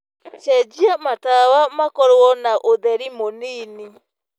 cenjĩa matawa makorwo na ũtherĩ mũnĩnĩ